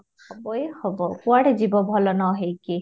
ହବ ହିଁ ହବ କୁଆଡେ ଯିବ ଭଲ ନ ହେଇକି